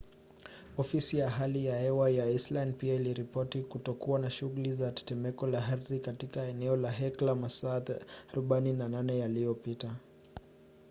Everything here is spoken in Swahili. ofisi ya hali ya hewa ya iceland pia iliripoti kutokuwa na shughuli za tetemeko la ardhi katika eneo la hekla masaa 48 yaliyopita